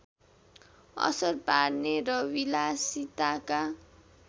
असर पार्ने र विलासिताका